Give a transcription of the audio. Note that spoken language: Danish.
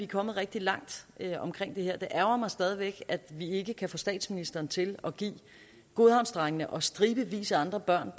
kommet rigtig langt omkring det her det ærgrer mig stadig væk at vi ikke kan få statsministeren til at give godhavnsdrengene og stribevis af andre børn